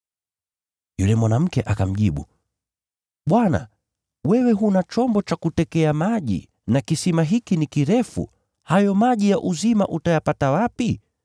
Yule mwanamke akamjibu, “Bwana, wewe huna chombo cha kutekea maji na kisima hiki ni kirefu. Hayo maji ya uzima utayapata wapi?